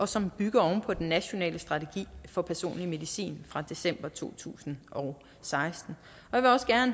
som bygger på den nationale strategi for personlig medicin fra december to tusind og seksten